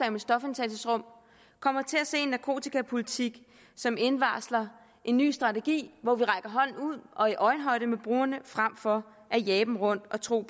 om stofindtagelsesrum kommer til at se en narkotikapolitik som indvarsler en ny strategi hvor vi rækker hånden ud og er i øjenhøjde med brugerne frem for at jage dem rundt og tro